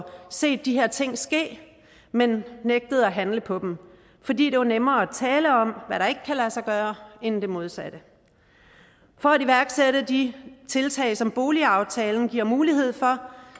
set de her ting ske men nægtet at handle på dem fordi det var nemmere at tale om hvad der ikke kan lade sig gøre end det modsatte for at iværksætte de tiltag som boligaftalen giver mulighed for